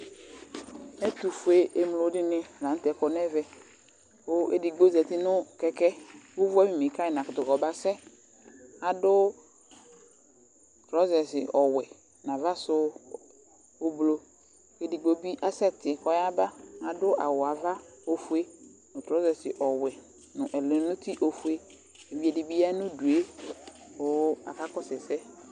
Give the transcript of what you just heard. Ɛtʊfʊemlo dɩnɩ lanʊtɛ kɔ nɛvɛ Kʊ edɩgbo zatɩ nʊ kɛkɛ ʊʋʊ awʊmɩ kaƴɩ nakʊtʊ kɔbasɛ adʊ trɔzɛs ɔwɛ naʋasʊ ʊɓlɔ Edɩgbo bɩ asɛtɩ kɔƴaɓa adʊ awʊ aʋa ofʊe ŋʊ trɔzɛs ɔwɛ nʊ ɛlɛnʊtɩ ofʊe Ɛdɩbɩ ƴa ŋʊdʊe ƙaƙa sʊ ɛsɛ